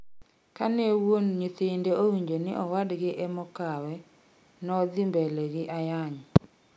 Ka ne wuon nyithinde owinjo ni owadgi emokawe nodhi mbele gi ayany